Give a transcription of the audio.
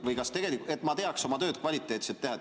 Küsin selleks, et ma teaksin, kuidas oma tööd kvaliteetselt teha.